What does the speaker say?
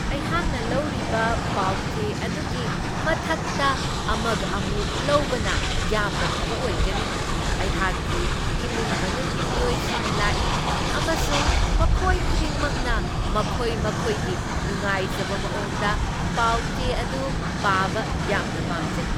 ꯑꯩꯍꯥꯛꯅ ꯂꯧꯔꯤꯕ ꯄꯥꯎꯆꯦ ꯑꯗꯨꯒꯤ ꯃꯊꯛꯇ ꯑꯃꯒ ꯑꯃꯨꯛ ꯂꯧꯕꯅ ꯌꯥꯝꯅ ꯐꯕ ꯑꯣꯏꯒꯅꯤ! ꯑꯩꯍꯥꯛꯀꯤ ꯏꯃꯨꯡ ꯃꯅꯨꯡꯒꯤ ꯃꯤꯑꯣꯏꯁꯤꯡ ꯂꯥꯛꯏ, ꯑꯃꯁꯨꯡ ꯃꯈꯣꯏ ꯈꯨꯗꯤꯡꯃꯛꯅ ꯃꯈꯣꯏ ꯃꯈꯣꯏꯒꯤ ꯅꯨꯡꯉꯥꯏꯖꯕ ꯃꯑꯣꯡꯗ ꯄꯥꯎꯆꯦ ꯑꯗꯨ ꯄꯥꯕ ꯌꯥꯝꯅ ꯄꯥꯝꯖꯩ꯫